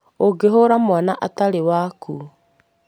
ũngĩhũra mwana atarĩ waku,